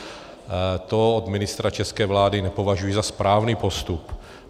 To od ministra české vlády nepovažuji za správný postup.